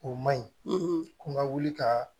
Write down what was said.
O man ɲi ko n ga wuli ka